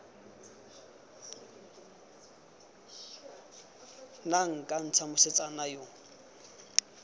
nna nka ntsha mosetsana yo